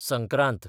Sankrant